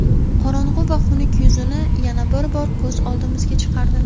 qorong‘i va xunuk yuzini yana bir bor ko‘z oldimizga chiqardi.